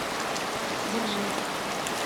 дзержинск